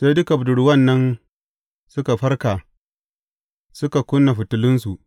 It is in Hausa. Sai dukan budurwan nan suka farka suka kuna fitilunsu.